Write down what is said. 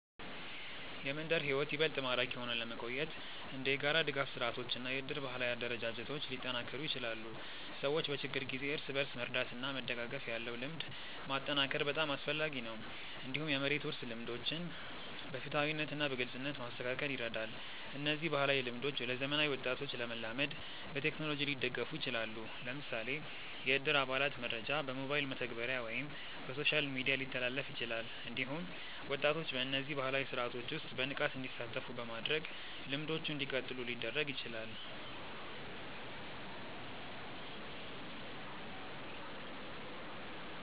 የመንደር ሕይወት ይበልጥ ማራኪ ሆኖ ለመቆየት እንደ የጋራ ድጋፍ ስርዓቶች እና የእድር ባህላዊ አደረጃጀቶች ሊጠናከሩ ይችላሉ። ሰዎች በችግር ጊዜ እርስ በርስ መርዳት እና መደጋገፍ ያለው ልምድ ማጠናከር በጣም አስፈላጊ ነው። እንዲሁም የመሬት ውርስ ልምዶችን በፍትሃዊነት እና በግልጽነት ማስተካከል ይረዳል። እነዚህ ባህላዊ ልምዶች ለዘመናዊ ወጣቶች ለመላመድ በቴክኖሎጂ ሊደገፉ ይችላሉ። ለምሳሌ የእድር አባላት መረጃ በሞባይል መተግበሪያ ወይም በሶሻል ሚዲያ ሊተላለፍ ይችላል። እንዲሁም ወጣቶች በእነዚህ ባህላዊ ስርዓቶች ውስጥ በንቃት እንዲሳተፉ በማድረግ ልምዶቹ እንዲቀጥሉ ሊደረግ ይችላል።